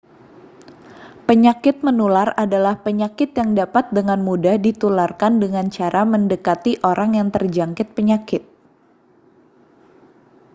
penyakit menular adalah penyakit yang dapat dengan mudah ditularkan dengan cara mendekati orang yang terjangkit penyakit